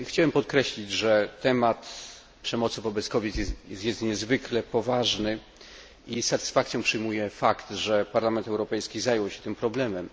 Chciałbym podkreślić, że temat przemocy wobec kobiet jest niezwykle poważny i z satysfakcją przyjmuję fakt, że Parlament Europejski zajął się tym problemem.